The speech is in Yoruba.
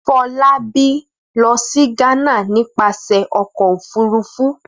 Fọlábí lọ sí Ghana nípasẹ̀ ọkọ̀-òfurufú.